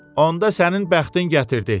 Onda sənin bəxtin gətirdi.